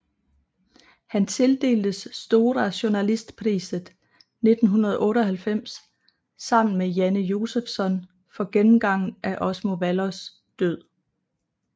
Han tildeltes Stora journalistpriset 1998 sammen med Janne Josefsson for gennemgangen af Osmo Vallos død